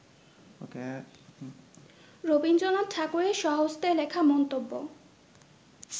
রবীন্দ্রনাথ ঠাকুরের স্বহস্তে লেখা মন্তব্য